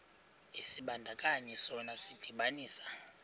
isibandakanyi sona sidibanisa